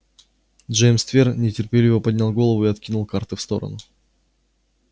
джеймс твер нетерпеливо поднял голову и откинул карты в сторону